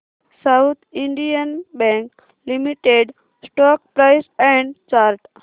south Indian bank limited stock price and chart